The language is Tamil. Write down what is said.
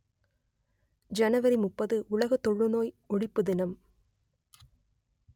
ஜனவரி முப்பது உலக தொழுநோய் ஒழிப்பு தினம்